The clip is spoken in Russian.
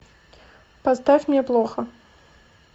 поставь мне плохо